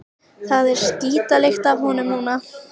Það er skítalykt af honum núna.